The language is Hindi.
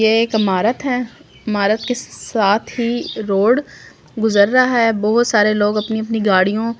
ये एक इमारत है इमारत के साथ ही रोड गुजर रहा है बहुत सारे लोग अपनी-अपनी गाड़ियों--